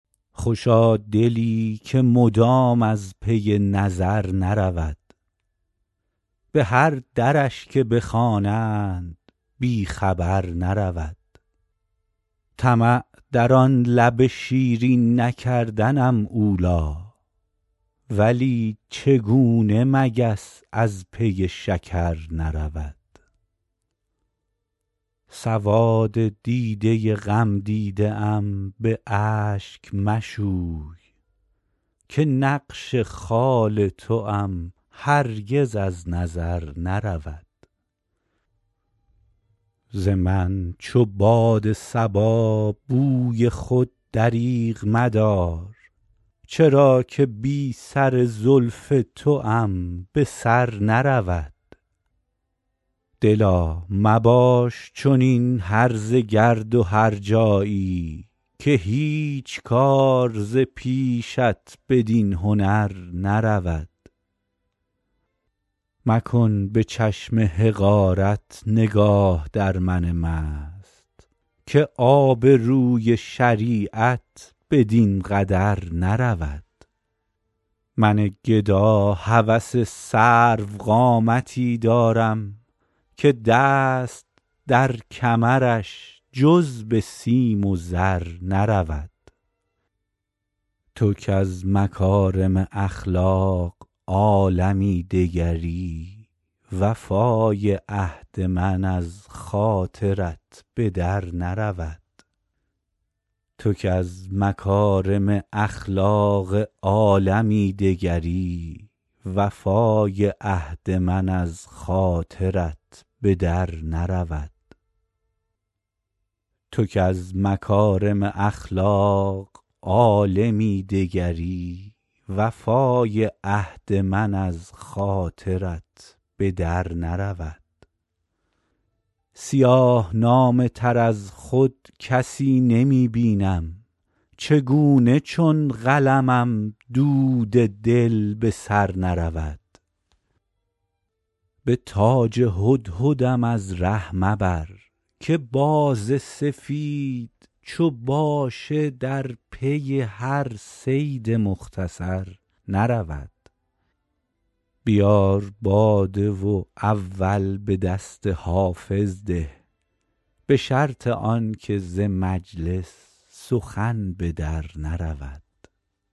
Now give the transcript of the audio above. خوشا دلی که مدام از پی نظر نرود به هر درش که بخوانند بی خبر نرود طمع در آن لب شیرین نکردنم اولی ولی چگونه مگس از پی شکر نرود سواد دیده غمدیده ام به اشک مشوی که نقش خال توام هرگز از نظر نرود ز من چو باد صبا بوی خود دریغ مدار چرا که بی سر زلف توام به سر نرود دلا مباش چنین هرزه گرد و هرجایی که هیچ کار ز پیشت بدین هنر نرود مکن به چشم حقارت نگاه در من مست که آبروی شریعت بدین قدر نرود من گدا هوس سروقامتی دارم که دست در کمرش جز به سیم و زر نرود تو کز مکارم اخلاق عالمی دگری وفای عهد من از خاطرت به در نرود سیاه نامه تر از خود کسی نمی بینم چگونه چون قلمم دود دل به سر نرود به تاج هدهدم از ره مبر که باز سفید چو باشه در پی هر صید مختصر نرود بیار باده و اول به دست حافظ ده به شرط آن که ز مجلس سخن به در نرود